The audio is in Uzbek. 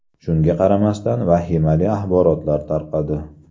Shunga qaramasdan vahimali axborotlar tarqadi.